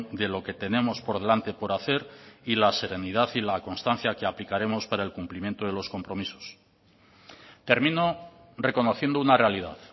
de lo que tenemos por delante por hacer y la serenidad y la constancia que aplicaremos para el cumplimiento de los compromisos termino reconociendo una realidad